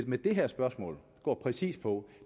men det her spørgsmål går præcis på